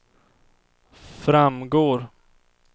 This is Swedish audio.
framgår